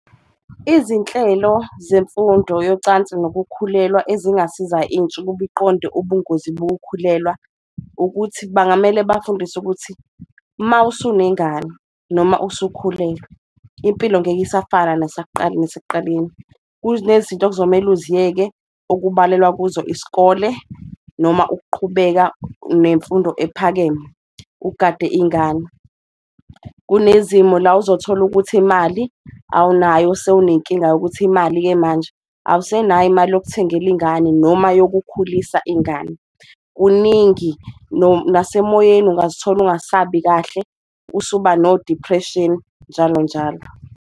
Izinhlelo zemfundo yocansi nokukhulelwa ezingasiza intsha ukuba iqonde ubungozi bokukhulelwa ukuthi, bangamele bafundiswe ukuthi mawusunengane noma usukhulelwe impilo ngeke isafana nasekuqaleni. Kunezinto okuzomele uziyeke okubalelwa kuzo isikole noma ukuqhubeka nemfundo ephakeme ugade ingane, kunezimo la ozothola ukuthi imali awunayo sewunenkinga yokuthi imali-ke manje. Awusenayo imali yokuthengela ingane noma yokukhulisa ingane kuningi, nasemoyeni ungazithola ungasabi kahle usuba nodiphreshini, njalo njalo.